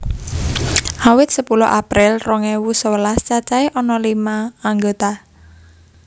Awit sepuluh April rong ewu sewelas cacahé ana lima anggota